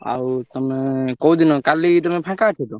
ଆଉ ତମେ କୋଉଦିନ? କାଲି ତମେ ଫାଙ୍କା ଅଛ ତ?